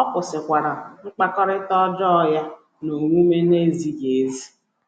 ọ kwụsịkwara mkpakọrịta ọjọọ ya na omume na - ezighị ezi. ”